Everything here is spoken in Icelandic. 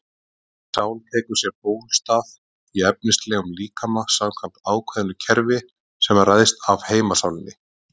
Þessi sál tekur sér bólstað í efnislegum líkama samkvæmt ákveðnu kerfi sem ræðst af heimssálinni.